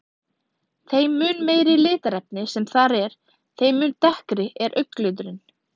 Þeim mun meira litarefni sem þar er, þeim mun dekkri er augnliturinn.